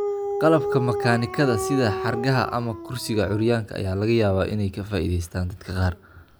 Qalabka makaanikada, sida xargaha ama kursiga curyaanka, ayaa laga yaabaa inay ka faa'iidaystaan ​​dadka qaar.